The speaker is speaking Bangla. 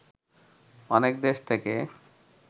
অনেক দেশ থেকে